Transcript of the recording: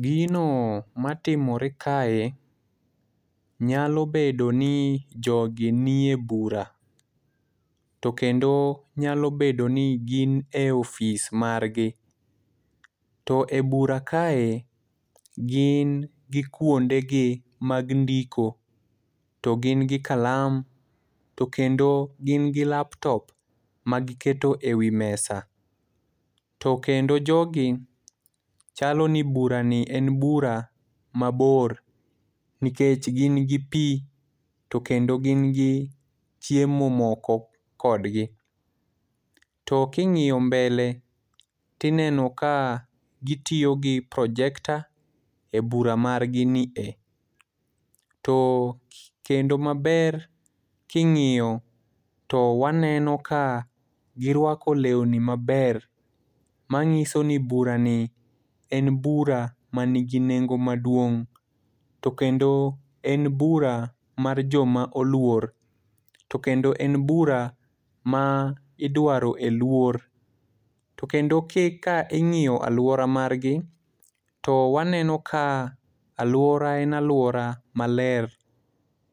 Gino matimore kae nyalo bedo ni jogi nie bura. To kendo nyalo bedo ni gin e office margi. To e bura kae, gin gi kwonde gi mag ndiko, to gin gi kalam, to kendo gin gi laptop ma giketo e wi mesa. To kendo jogi, chalo ni bura ni en bura mabor. Nikech gin gi pi, to kendo gin gi chiemo moko kodgi. To king'iyo mbele to ineno ka gitiyo gi projector e bura margi ni e. To kendo maber, king'iyo to waneno ka girwako lewni maber, manyiso ni bura ni en bura manigi nengo maduong', to kendo en bura mar joma oluor. To kendo en bura ma idwaro e luor. To kendo ka ing'iyo alwora margi, to waneno ka alwora en alwora maler.